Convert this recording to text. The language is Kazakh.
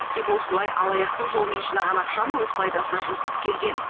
тек осылай алаяқтық жолмен жинаған ақшаны өз пайдасына жұмсап келген